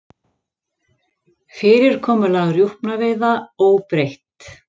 Fyrirkomulag rjúpnaveiða óbreytt